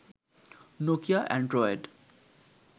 Nokia Android